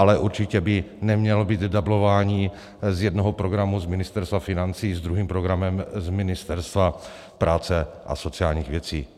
Ale určitě by nemělo být dublování z jednoho programu z Ministerstva financí s druhým programem z Ministerstva práce a sociálních věcí.